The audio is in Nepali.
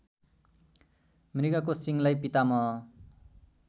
मृगको सिङलाई पितामह